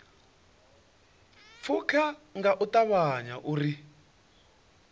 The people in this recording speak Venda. pfuke nga u ṱavhanya uri